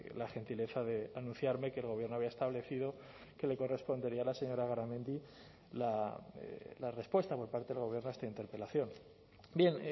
la gentileza de anunciarme que el gobierno había establecido que le correspondería a la señora garamendi la respuesta por parte del gobierno a esta interpelación bien